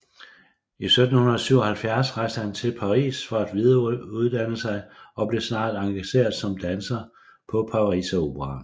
I 1777 rejste han til Paris for at videreuddanne sig og blev snart engageret som danser på Pariseroperaen